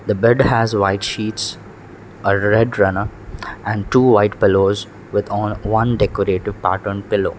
the bed has white sheets a red runner and two white pellows with on one decorative part on pellow .